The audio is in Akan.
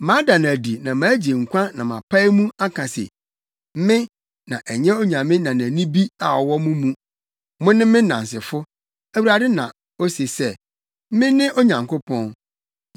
Mada no adi na magye nkwa na mapae mu aka se, Me, na ɛnyɛ onyame nanani bi a ɔwɔ mo mu. Mone me nnansefo,” Awurade na ose sɛ, “Mene Onyankopɔn.